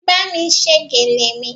Bámi ṣe gèlè mi